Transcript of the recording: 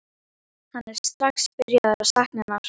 Hann er strax byrjaður að sakna hennar.